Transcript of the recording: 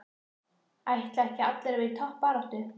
Ætla ekki allir að vera í toppbaráttu?